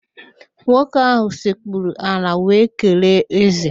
Nwoke ahụ sekpuru ala wee kelee ézè